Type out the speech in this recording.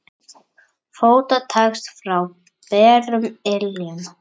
Fótatak barst frá berum iljum.